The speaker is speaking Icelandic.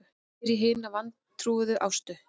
spyr ég hina vantrúuðu Ástu.